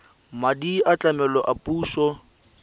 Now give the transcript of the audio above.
madi a tlamelo a puso